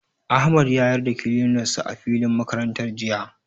Ahmad ya yar da kilinar sa a filin makarantar jiya.